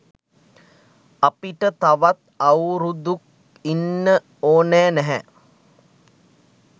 අපිට තවත් අවුරුදුක් ඉන්න ඕනෑ නැහැ